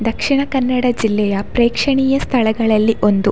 ದಕ್ಷಿಣ ಕನ್ನಡ ಜಿಲ್ಲೆಯ ಪ್ರೇಕ್ಷಣೀಯ ಸ್ಥಳಗಳಲ್ಲಿ ಒಂದು --